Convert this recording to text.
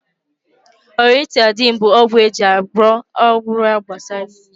Oratidine bụ ọgwụ eji agwọ ọrịa gbasara imi